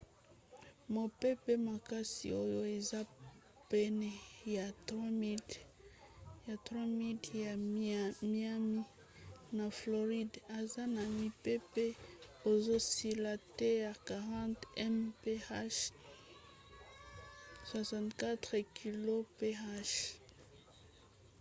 mopepe makasi oyo eza pene ya 3 000 miles ya miami na floride aza na mipepe ezosila te ya 40 mph 64 kph